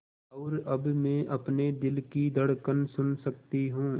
और अब मैं अपने दिल की धड़कन सुन सकती हूँ